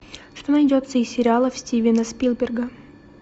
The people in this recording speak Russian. что найдется из сериалов стивена спилберга